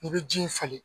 I bɛ ji falen